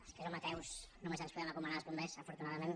els que som ateus només ens po·dem encomanar als bombers afortunadament